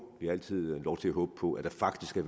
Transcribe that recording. vi har altid lov til at håbe på at der faktisk er